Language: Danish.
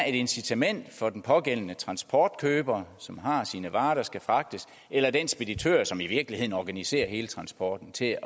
et incitament for den pågældende transportkøber som har sine varer der skal fragtes eller den speditør som i virkeligheden organiserer hele transporten til